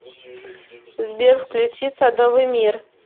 сбер включи садовый мир